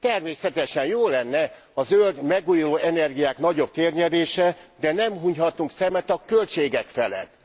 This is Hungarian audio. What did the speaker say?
Természetesen jó lenne a zöld, megújuló energiák nagyobb térnyerése, de nem hunyhatunk szemet a költségek felett.